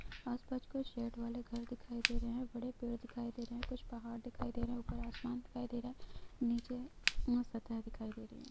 आस-पास कुछ शेड वाले घर दिखाई दे रहे हैं| बड़े पेड़ दिखाई दे रहे हैं कुछ पहाड़ दिखाई दे रहे हैं| ऊपर आसमान दिखाई दे रहा है नीचे दिखाई दे रही है।